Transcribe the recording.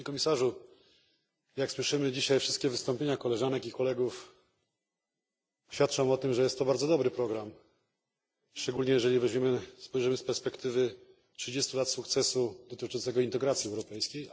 Panie Komisarzu! Jak dzisiaj słyszymy, wszystkie wystąpienia koleżanek i kolegów świadczą o tym, że jest to bardzo dobry program, szczególnie jeżeli spojrzymy z perspektywy 30 lat sukcesu integracji europejskiej.